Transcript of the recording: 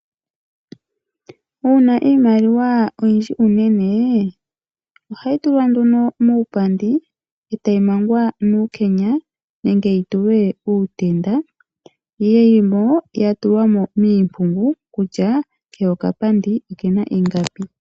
Uuna iimaliwa oyindji unene ohayi tulwa nduno muupandi etayi mangwa nuukenya nenge yitulwe uutenda. Yili mo ya tulwa mo miimpungu kutya heya okapandi kena ingapi.